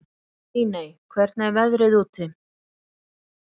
Líney, hvernig er veðrið úti?